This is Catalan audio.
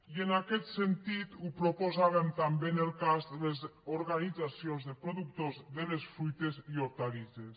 i en aquest sentit ho proposàvem també en el cas de les organitzacions de productors de les fruites i hortalisses